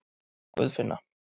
Guðfinna